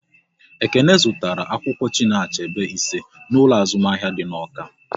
Ekene zụtara akwụkwọ Chinua Achebe ise n'ụlọ azụmahịa dị n'Awka